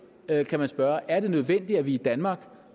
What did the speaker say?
spørge er nødvendigt at vi i danmark